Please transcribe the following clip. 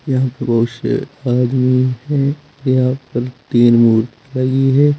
यहां बहोत से आदमी हैं यहां पर तीन मूर्ति लगी है।